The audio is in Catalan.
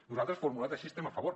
nosaltres formulat així hi estem a favor